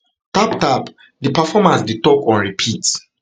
tap tap di performers dey talk on repeat